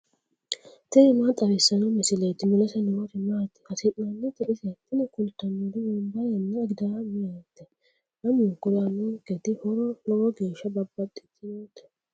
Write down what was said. tini maa xawissanno misileeti ? mulese noori maati ? hiissinannite ise ? tini kultannori wonbarenna agidaamete lamunkuri aannonketi horo lowo geeshsha babbaxxitinote.